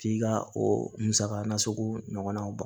K'i ka o musaka nasugu ɲɔgɔnnaw ban